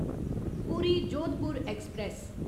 पूरी जोधपुर ऐक्सप्रैस